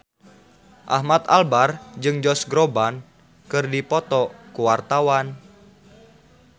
Ahmad Albar jeung Josh Groban keur dipoto ku wartawan